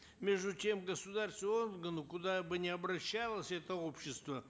между тем государственные органы куда бы ни обращалось это общество